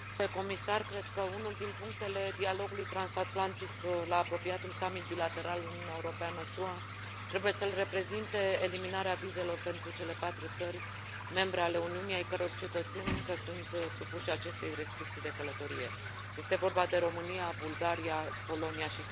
Cred că unul din punctele dialogului transatlantic la apropiatul summit bilateral Uniunea Europeană SUA trebuie să îl reprezinte eliminarea vizelor pentru cele patru țări membre ale Uniunii ale căror cetățeni încă sunt supuși acestei restricții de călătorie este vorba de România, Bulgaria, Polonia și Cipru.